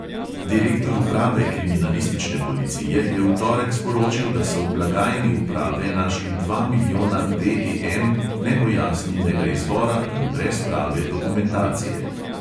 Direktor uprave kriminalistične policije je v torek sporočil, da so v blagajni uprave našli dva milijona DEM nepojasnjenega izvora in brez prave dokumentacije.